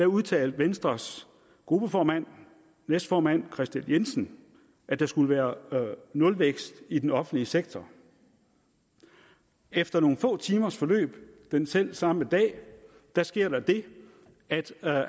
udtalte venstres gruppeformand og næstformand kristian jensen at der skulle være nulvækst i den offentlige sektor efter nogle få timers forløb selv samme dag sker der det at